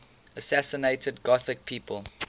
assassinated gothic people